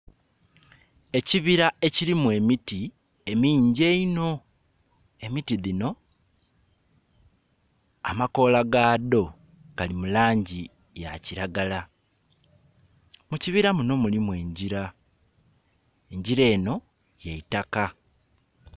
Ekibira ekilimu emiti emingi eiinho emiti dhino amakoola ga dho gali mu langi eya kilagala. Mu kibira muno mulimu engila engila eno yeitaka.